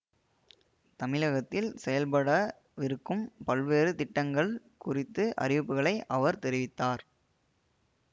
தமிழகத்தில் செயல்ப்பட விருக்கும் பல்வேறு திட்டங்கள் குறித்த அறிவிப்புகளை அவர் தெரிவித்தார்